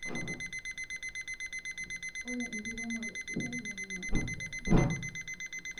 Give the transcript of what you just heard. Ore inkeremore sidai neingor boo